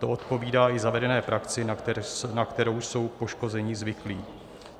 To odpovídá i zavedené praxi, na kterou jsou poškození zvyklí.